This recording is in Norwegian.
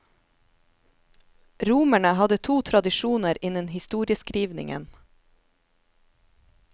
Romerne hadde to tradisjoner innen historieskrivningen.